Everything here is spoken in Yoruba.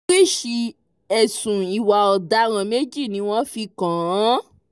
oríṣìí ẹ̀sùn ìwà ọ̀daràn méjì ni wọ́n fi kàn án